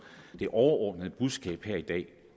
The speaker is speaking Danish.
det overordnede budskab her i dag